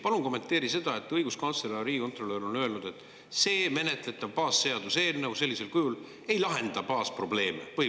Palun kommenteeri seda, et õiguskantsler ja riigikontrolör on öelnud, et see menetletav baasseaduseelnõu sellisel kujul ei lahenda põhiprobleeme.